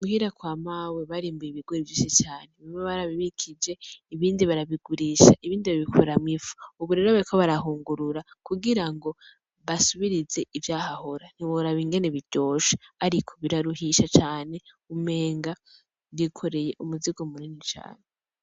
Muhira kwa mawe barimbuye ibigori vyinshi cane, bimwe barabibikije ibindi barabigurisha ibindi babikoramwo ifu. Ubu rero bariko barahungurura kugira ngo basubirize ivyahahora ntiworaba ingene biryoshe ariko biraruhisha cane umenga wikoreye umuzigo munini cane.